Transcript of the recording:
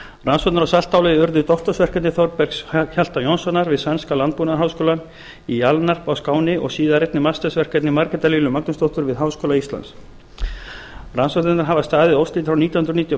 á saltálagi urðu doktorsverkefni þorbergs hjalta jónssonar við sænska landbúnaðarháskólann í alnarp á skáni og síðar einnig meistaraverkefni margrétar lilju magnúsdóttur við háskóla íslands rannsóknirnar hafa staðið óslitið frá nítján hundruð níutíu og